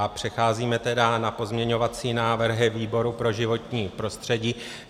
A přecházíme tedy na pozměňovacími návrhy výboru pro životní prostředí.